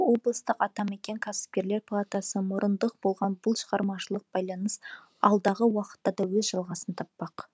облыстық атамекен кәсіпкерлер палатасы мұрындық болған бұл шығармашылық байланыс алдағы уақытта да өз жалғасын таппақ